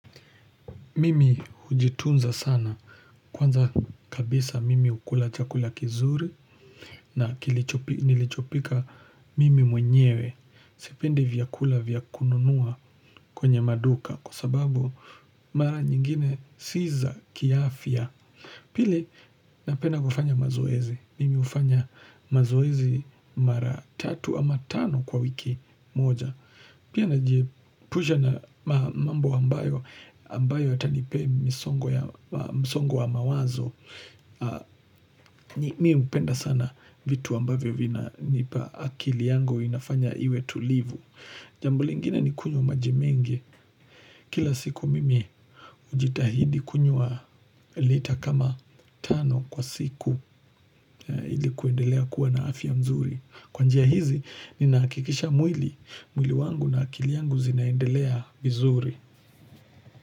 Mimi hujitunza sana. Kwanza kabisa mimi hukula chakula kizuri na nilichopika mimi mwenyewe. Sipendi vyakula vya kununua kwenye maduka kwa sababu mara nyingine si za kiafya. Pili, napenda kufanya mazoezi. Mimi hufanya mazoezi mara tatu ama tano kwa wiki moja. Pia najihepusha na mambo ambayo, ambayo yatanipea msongo ya, msongo wa mawazo, mimi penda sana vitu ambavyo vina nipa akili yangu inafanya iwe tulivu. Jambo lingina ni kunywa maji mengi. Kila siku mimi hujitahidi kunywa lita kama tano kwa siku ili kuendelea kuwa na afya mzuri. Kwa njia hizi, ninahakikisha mwili, mwili wangu na akili yangu zinaendelea vizuri.